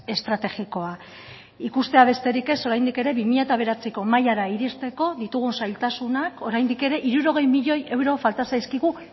estrategikoa ikustea besterik ez oraindik ere bi mila bederatziko mailara iristeko ditugun zailtasunak oraindik ere hirurogei milioi euro falta zaizkigu